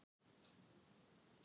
Þú veist að bruna